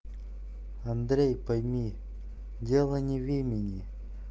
андрей пойми дело не в имени